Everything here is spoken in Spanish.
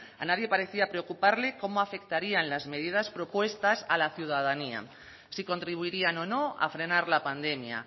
a nadie parecía preocuparle cómo afectarían las medidas propuestas a la ciudadanía si contribuirían o no a frenar la pandemia